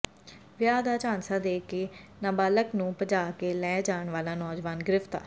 ਵਿਆਹ ਦਾ ਝਾਂਸਾ ਦੇ ਕੇ ਨਾਬਾਲਗ ਨੰੂ ਭਜਾ ਕੇ ਲੈ ਜਾਣ ਵਾਲਾ ਨੌਜਵਾਨ ਗਿ੍ਫ਼ਤਾਰ